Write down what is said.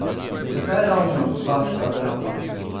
Zakaj ravno Baška grapa?